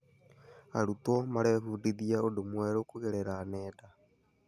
Arutwo marebundithia ũndũ mwerũ kũgerera nenda.